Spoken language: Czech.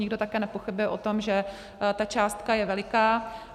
Nikdo také nepochybuje o tom, že ta částka je veliká.